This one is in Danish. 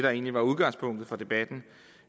der egentlig var udgangspunktet for debatten